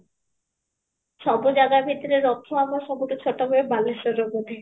ସବୁ ଜାଗା ଭିତରେ ରଥ ଆମ ସବୁଠୁ ଛୋଟ ହୁଏ ବାଳେବର ରେ ବୋଧେ